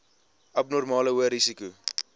abnormale hoë risiko